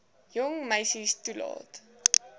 jong meisie toelaat